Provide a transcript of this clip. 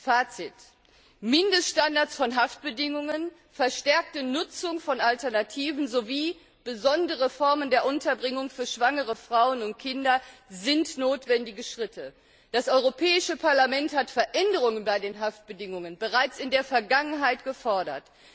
Fazit Mindeststandards von Haftbedingungen, verstärkte Nutzung von Alternativen sowie besondere Formen der Unterbringung für schwangere Frauen und Kinder sind notwendige Schritte. Das Europäische Parlament hat Veränderungen bei den Haftbedingungen bereits in der Vergangenheit gefordert.